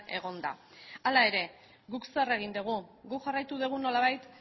egonda hala ere guk zer egin dugu guk jarraitu dugu nolabait